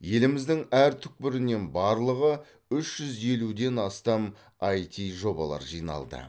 еліміздің әр түкпірінен барлығы үш жүз елуден астам іт жобалар жиналды